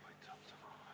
Aitäh!